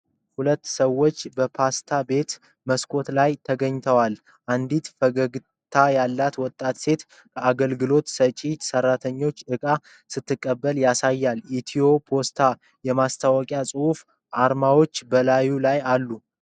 ሁለት ሰዎች በፖስታ ቤት መስኮት ላይ ተገናኝተዋል። አንዲት ፈገግታ ያላት ወጣት ሴት ከአገልግሎት ሰጪ ሰራተኛ እቃ ስትቀበል ያሳያል። ኢትዮ ፖስት የማስተዋወቂያ ጽሑፎችና አርማዎች በላዩ ላይ አሉ።